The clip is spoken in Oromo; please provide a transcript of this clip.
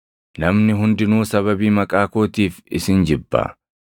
Namni hundinuu sababii maqaa kootiif isin jibba.